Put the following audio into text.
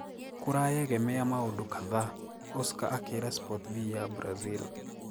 "Kurayegemea maũndu kadhaa," Oscar akiira Sportv ya Brazil.